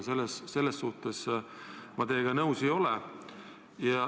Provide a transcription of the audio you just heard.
Selles suhtes ma teiega nõus ei ole.